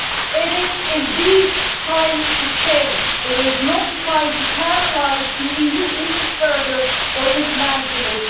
It is indeed time for change. It is not the time to paralyse the EU even further or to dismantle